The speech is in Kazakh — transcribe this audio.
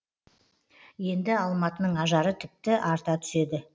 енді алматының ажары тіпті арта түседі